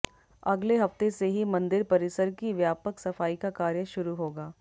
अगले हफ्ते से ही मंदिर परिसर की व्यापक सफाई का कार्य शुरू होगा